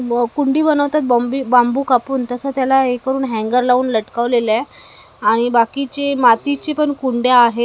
वो कुट्टी बनवतात बॉम्बी बाम्बू कापून तसं त्याला हे करून हॅंगर लावून लटकवलेलं आहे आणि बाकीचे मातीचे पण कुंड्या आहेत.